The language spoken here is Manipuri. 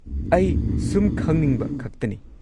ꯑꯩ ꯁꯨꯝ ꯈꯪꯅꯤꯡꯕ ꯈꯛꯇꯅꯤ꯫